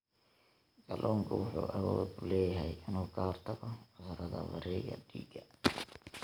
Kalluunku wuxuu awood u leeyahay inuu ka hortago cudurrada wareegga dhiigga.